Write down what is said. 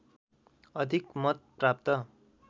अधिक मत प्राप्त